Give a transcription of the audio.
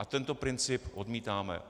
A tento princip odmítáme.